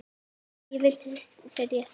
Ég vildi byrja strax.